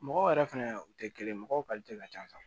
Mɔgɔw yɛrɛ fɛnɛ u tɛ kelen ye mɔgɔw ka ca